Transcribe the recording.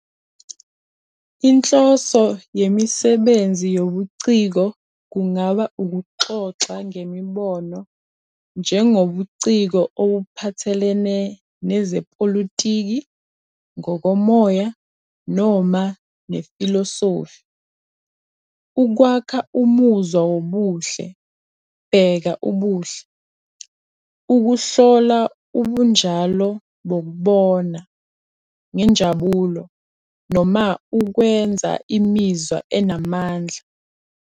Inhloso yemisebenzi yobuciko kungaba ukuxoxa ngemibono, njengobuciko obuphathelene nezepolitiki, ngokomoya, noma nefilosofi, ukwakha umuzwa wobuhle, bheka ubuhle, ukuhlola ubunjalo bokubona, ngenjabulo, noma ukwenza imizwa enamandla.